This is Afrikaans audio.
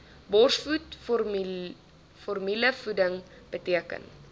borsvoed formulevoeding beteken